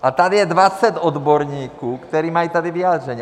A tady je 20 odborníků, kteří tady mají vyjádření.